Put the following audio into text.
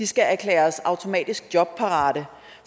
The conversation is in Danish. skal erklæres automatisk jobparate